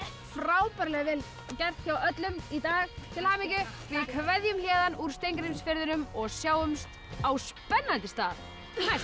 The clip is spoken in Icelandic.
frábærlega vel gert hjá öllum í dag til hamingju við kveðjum héðan úr Steingrímsfirðinum og sjáumst á spennandi stað næst